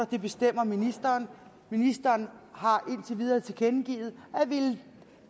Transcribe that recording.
det bestemmer ministeren ministeren har indtil videre tilkendegivet at ville